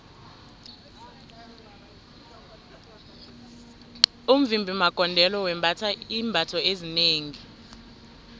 umvimbi magondelo wembatha iimbatho ezinengi